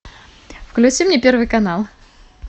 включи мне первый канал